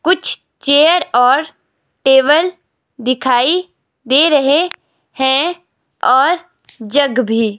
कुछ चेयर और टेबल दिखाई दे रहे हैं और जग भी।